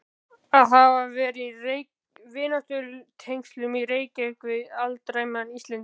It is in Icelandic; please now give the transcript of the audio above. Að hafa verið í vináttutengslum í Reykjavík við alræmdan Íslending